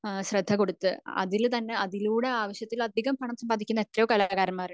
ഏഹ്ഹ് ശ്രദ്ധ കൊടുത്ത് അതിൽ തന്നെ അതിലൂടെ ആവശ്യത്തിലധികം പണം സംബന്ധിക്കുന്ന എത്രയോ കലാകാരന്മാർ ഉണ്ട്